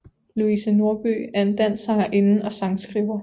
Louise Norby er en dansk sangerinde og sangskriver